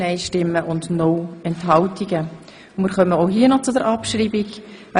Nun stimmen wir auch hier über die Abschreibung ab.